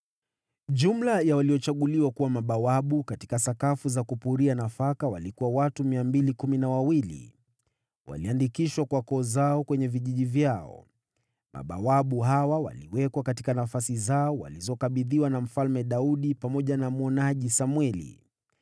Jumla ya waliochaguliwa kuwa mabawabu katika sakafu za kupuria nafaka walikuwa watu 212. Waliandikishwa kwa koo zao kwenye vijiji vyao. Mabawabu hawa waliwekwa katika nafasi zao za kuaminiwa na Daudi pamoja na mwonaji Samweli.